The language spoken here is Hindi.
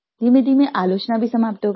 धीमेधीमे आलोचना भी समाप्त हो गयी